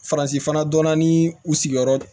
Faransi fana dɔnna ni u sigiyɔrɔ